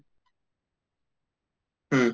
হুম